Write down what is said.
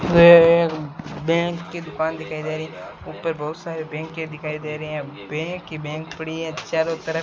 Bank की दुकान दिखाई दे रही ऊपर बहुत सारे बैंके दिखाई दे रहे हैं बैंक ही बैंक पड़ी हैं चारों तरफ।